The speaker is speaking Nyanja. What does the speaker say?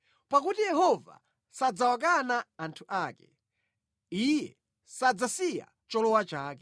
Pakuti Yehova sadzawakana anthu ake; Iye sadzasiya cholowa chake.